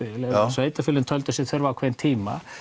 sveitarfélögin töldu sig þurfa ákveðinn tíma